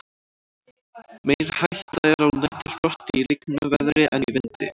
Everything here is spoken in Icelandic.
meiri hætta er á næturfrosti í lygnu veðri en í vindi